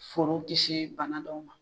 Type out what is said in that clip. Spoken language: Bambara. Foro kisi bana dɔw ma.